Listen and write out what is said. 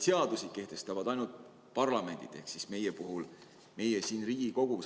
Seadusi kehtestavad ainult parlamendid, Eestis meie siin Riigikogus.